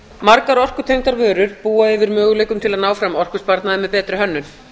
margar orkutengdar vörur búa yfir möguleikum til að ná fram orkusparnaði með betri hönnun